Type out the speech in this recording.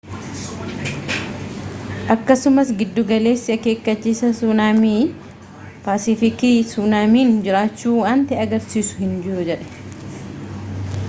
akkasumas giddugaleessi akeekkachiisa suunaaamii paasifiikii suunaamiin jiraachuu wanti agarsiisu hin jirujedhe